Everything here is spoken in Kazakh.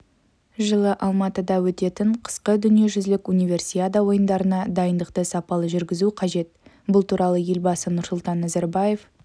жылы алматыда өтетін қысқы дүниежүзілік универсиада ойындарына дайындықты сапалы жүргізу қажет бұл туралы елбасы нұрсұлтан назарбаев